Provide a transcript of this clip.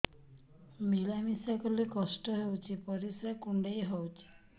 ମିଳା ମିଶା କଲେ କଷ୍ଟ ହେଉଚି ପରିସ୍ରା କୁଣ୍ଡେଇ ହଉଚି